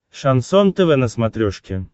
шансон тв на смотрешке